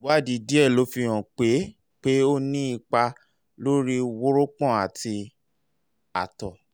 ìwádìí díẹ̀ ló fihàn pé pé ó ní ipa lórí wórópọ̀n àti àtọ̀